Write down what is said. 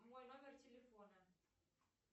мой номер телефона